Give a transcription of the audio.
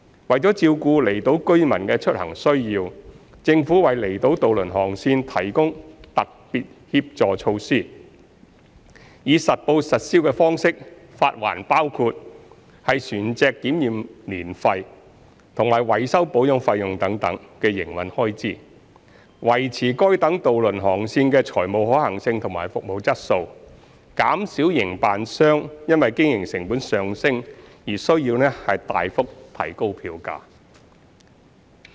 為照顧離島居民的出行需要，政府為離島渡輪航線提供特別協助措施，以實報實銷方式發還包括船隻檢驗年費及維修保養費用等營運開支，維持該等渡輪航線的財務可行性及服務質素，減少營辦商因經營成本上升而須大幅提高票價。